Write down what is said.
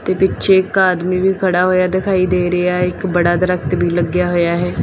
ਪਿੱਛੇ ਇੱਕ ਆਦਮੀ ਵੀ ਖੜ੍ਹਾ ਹੋਇਆ ਦਿਖਾਈ ਦੇ ਰਿਹਾ ਹੈ ਇੱਕ ਬੜਾ ਦਰਖਤ ਵੀ ਲੱਗਿਆ ਹੋਇਆ ਹੈ।